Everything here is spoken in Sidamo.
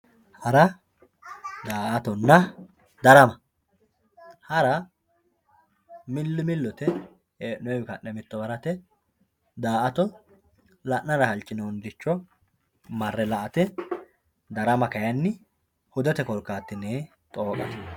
Hara daa`atonna dara hara mili milote henoyiwii ka`ne mittowa harate daa`ato la`nara hasinoniricho marre la`ate darama kayini hudete korkatini xooqate